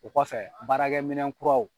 O kɔfɛ baarakɛ minɛn kuraw.